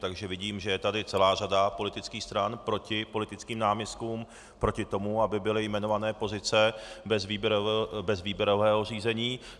Takže vidím, že je tady celá řada politických stran proti politickým náměstkům, proti tomu, aby byly jmenované pozice bez výběrového řízení.